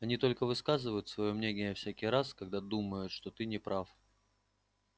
они только высказывают своё мнение всякий раз когда думают что ты не прав